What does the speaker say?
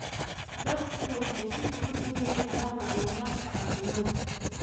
Dadku waxay si fudud u heli karaan macluumaadka caafimaadka.